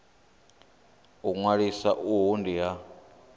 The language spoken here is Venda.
u ṅwalisa uhu ndi ha